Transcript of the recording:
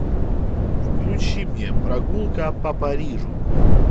включи мне прогулка по парижу